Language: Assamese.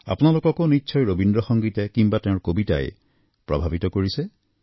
আপোনালোককো ৰবীন্দ্ৰ সংগীতে কিম্বা তেওঁৰ কবিতাই প্ৰভাৱিত কৰিছে